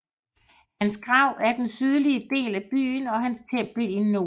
Hans grav er i den sydlige del af byen og hans tempel i nord